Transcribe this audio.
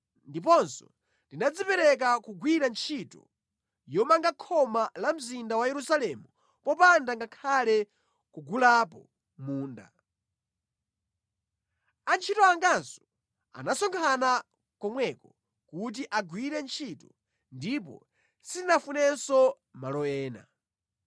Ndiponso ndinadzipereka kugwira ntchito yomanga khoma la mzinda wa Yerusalemu popanda ngakhale kugulapo munda. Antchito anganso anasonkhana komweko kuti agwire ntchito ndipo sitinafunenso malo ena.